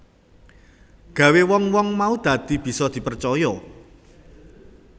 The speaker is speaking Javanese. Gawé wong wong mau dadi bisa dipercaya